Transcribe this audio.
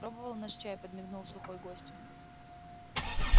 пробовал наш чай подмигнул сухой гостю